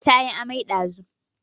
Ta yi amai ɗazu